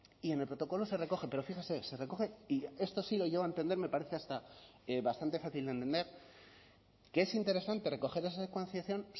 y en el protocolo se recoge pero fíjese se recoge y esto sí lo llego a entender me parece hasta bastante fácil de entender que es interesante recoger esa secuenciación